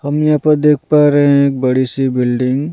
हम यहाँ पर देख पा रहे हैं एक बड़ी सी बिल्डिंग ।